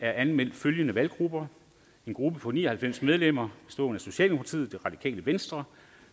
er anmeldt følgende valggrupper en gruppe på ni og halvfems medlemmer socialdemokratiet radikale venstre